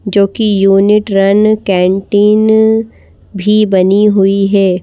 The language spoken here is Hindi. जो की यूनिट रन कैंटीन भी बनी हुई है।